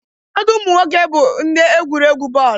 Ụfọdụ ụmụ nwoke bụ ndị egwurị egwu bọọlụ.